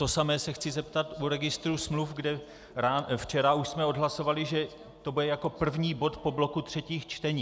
To samé se chci zeptat u registru smluv, kde včera už jsme odhlasovali, že to bude jako první bod po bloku třetích čtení.